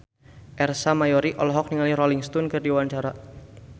Ersa Mayori olohok ningali Rolling Stone keur diwawancara